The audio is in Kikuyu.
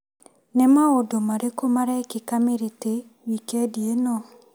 Nĩ maũndũ marĩkũ marekĩka Mĩrĩtĩ wikendi ĩno?